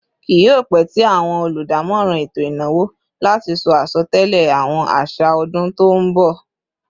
Kí yio pẹ tí àwọn oludamoran eto ìnáwó láti sọ asotẹlẹ àwọn așa ọdún tó nbọ